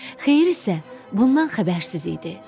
Xeyir isə bundan xəbərsiz idi.